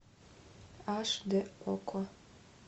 аш д окко